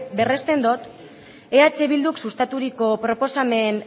berresten dut eh bilduk sustaturiko proposamen